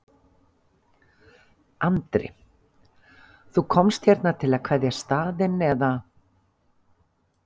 Andri: Þú komst hérna til að kveðja staðinn eða?